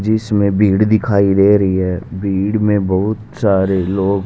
जिसमें भीड़ दिखाई दे रही है भीड़ में बहुत सारे लोग--